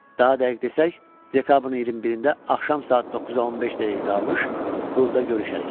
Daha dəqiq desək, dekabrın 21-də axşam saat 9:15 dəqiqə qalmış klubda görüşərik.